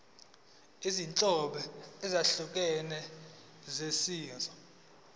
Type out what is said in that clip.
izinhlobo ezahlukene zemisho